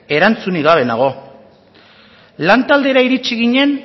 erantzunik gabe nago lantaldera iritsi ginen